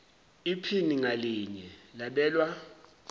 iphini ngalinye labelwa